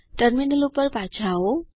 terminal ઉપર પાછા આવો